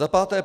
Za páté.